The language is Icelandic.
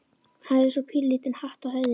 Hafði svo pínulítinn hatt á höfðinu.